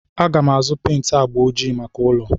Aga m azụ pent agba ojii maka ụlọ.